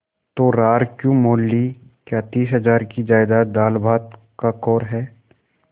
तो रार क्यों मोल ली क्या तीस हजार की जायदाद दालभात का कौर है